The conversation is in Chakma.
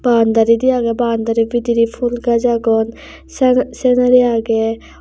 baundari diye aagey baundari bidirey phul gash aagon sa senari aagey.